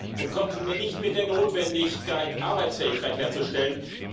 Und kommen Sie mir nicht mit der Notwendigkeit, Arbeitsfähigkeit herzustellen.